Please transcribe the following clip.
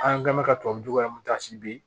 An kumana ka tubabu nɔgɔ bɛ yen